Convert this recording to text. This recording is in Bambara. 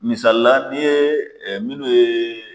Misali la ni ye ɛɛ minnu ye